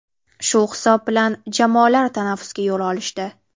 Shu hisob bilan jamoalar tanaffusga yo‘l olishdi.